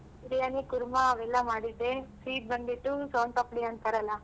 Biryani kurma ಅವೆಲ್ಲ ಮಾಡಿದ್ದೆ sweet ಬಂದ್ಬಿಟ್ಟು Soan papdi ಅಂತಾರಲ್ಲ.